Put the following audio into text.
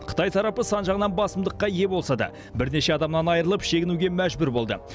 қытай тарапы сан жағынан басымдыққа ие болса да бірнеше адамынан айырылып шегінуге мәжбүр болды